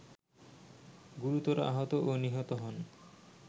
গুরুতর আহত ও নিহত হন